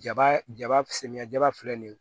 Jaba jaba samiyɛ jaba filɛ nin ye